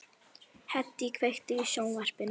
Hedí, kveiktu á sjónvarpinu.